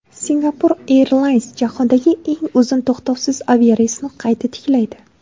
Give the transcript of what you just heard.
Singapore Airlines jahondagi eng uzun to‘xtovsiz aviareysni qayta tiklaydi.